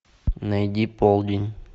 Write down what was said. найди полдень